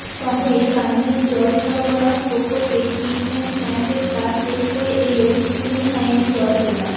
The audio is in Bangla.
শহরে পানীয় জল সরবরাহ প্রকল্পে ট্রিটমেন্ট প্ল্যান্টের কাজ শেষ হয়ে এলেও শুরুই হয়নি জল তোলার